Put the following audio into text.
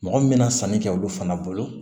Mɔgɔ min bɛna sanni kɛ olu fana bolo